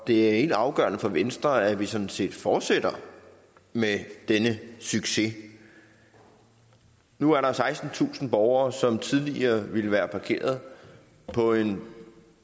det er helt afgørende for venstre at vi sådan set fortsætter med denne succes nu er der sekstentusind borgere som tidligere ville være parkeret på en